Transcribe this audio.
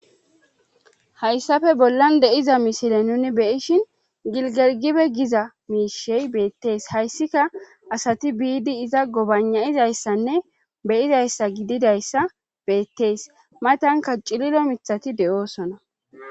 hayssafe bollan de7iza mishile nuni beyishin gilgergibe giza miishey beettees hayssika asati biidi iza gobanayizayssanne beyizayssa gididayssa beettees matanka cililo mithati de7oosona